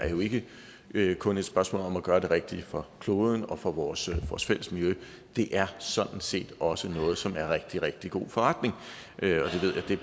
ikke kun er et spørgsmål om at gøre det rigtige for kloden og for vores fælles miljø det er sådan set også noget som er rigtig rigtig god forretning